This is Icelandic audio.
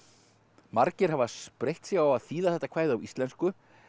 margir hafa spreytt sig á að þýða þetta kvæði á íslensku